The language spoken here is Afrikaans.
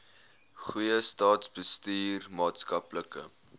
goeie staatsbestuur maatskaplike